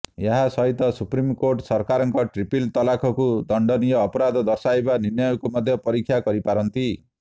ଏହା ସହିତ supreme court ସରକାରଙ୍କ ଟ୍ରିପଲ୍ ତଲାକକୁ ଦଣ୍ଡନୀୟ ଅପରାଧ ଦର୍ଶାଇବା ନିର୍ଣ୍ଣୟକୁ ମଧ୍ୟ ପରୀକ୍ଷା କରିପାରନ୍ତି